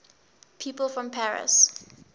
people from paris